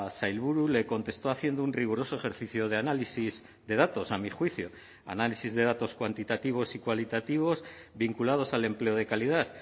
sailburu le contestó haciendo un riguroso ejercicio de análisis de datos a mi juicio análisis de datos cuantitativos y cualitativos vinculados al empleo de calidad